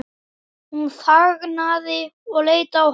Hún þagnaði og leit á hann.